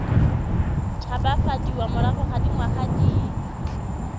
tshabafadiwa morago ga dingwaga di